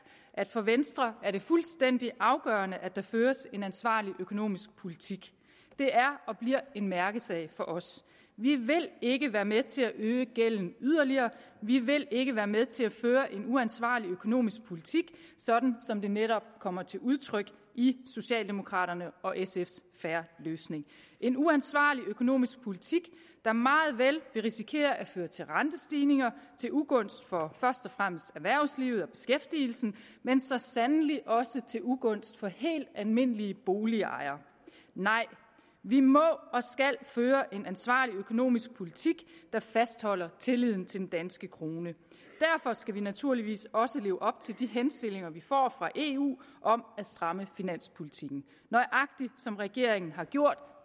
at for venstre er det fuldstændig afgørende at der føres en ansvarlig økonomisk politik det er og bliver en mærkesag for os vi vil ikke være med til at øge gælden yderligere vi vil ikke være med til at føre en uansvarlig økonomisk politik sådan som det netop kommer til udtryk i socialdemokraternes og sfs en fair løsning en uansvarlig økonomisk politik der meget vel vil risikere at føre til rentestigninger til ugunst for først og fremmest erhvervslivet og beskæftigelsen men så sandelig også til ugunst for helt almindelige boligejere nej vi må og skal føre en ansvarlig økonomisk politik der fastholder tilliden til den danske krone derfor skal vi naturligvis også leve op til de henstillinger vi får fra eu om at stramme finanspolitikken nøjagtig som regeringen har gjort